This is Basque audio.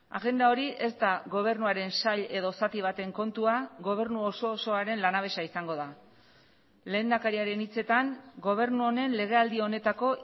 agenda hori ez da gobernuaren sail edo zati baten kontua gobernu oso osoaren lanabesa izango da lehendakariaren hitzetan gobernu honen legealdi honetako